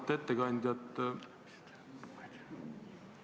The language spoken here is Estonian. Auväärt ettekandja!